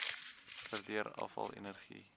verdeel afval energie